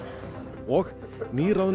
og nýráðnu